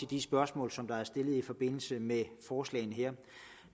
de spørgsmål som er blevet stillet i forbindelse med forslagene